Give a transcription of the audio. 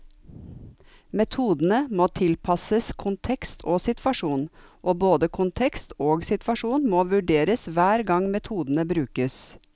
Metodene må tilpasses kontekst og situasjon, og både kontekst og situasjon må vurderes hver gang metodene brukes.